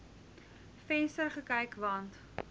venster gekyk want